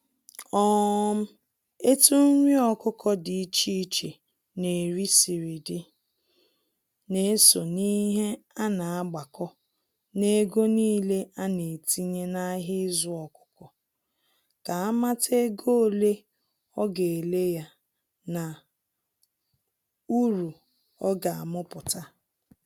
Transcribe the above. um Etụ nrị Ọkukọ d’iche iche n’eri siri dị, na-eso n'ihe ana-agbako n'ego n'ile ana-etinye n'ahia izu ọkukọ, ka amata ego ole a ga ele ya na uru ọga amuputa.